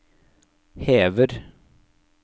hever